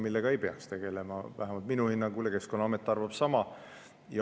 Vähemalt minu hinnangul Keskkonnaamet ei peaks sellega tegelema, ja amet arvab sama.